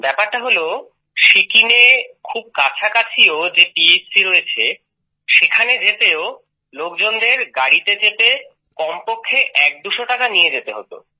ব্যাপারটা হল সিকিমে খুব কাছাকাছিও যে পিএচসি রয়েছে সেখানে যেতেও লোকজনেদের গাড়িতে চেপে কমপক্ষে একদুশো টাকা নিয়ে যেতে হতো